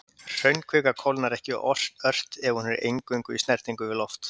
Hraunkvika kólnar ekki ört ef hún er eingöngu í snertingu við loft.